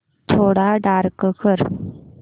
थोडा डार्क कर